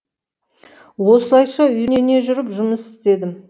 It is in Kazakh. осылайша үйрене жүріп жұмыс істедім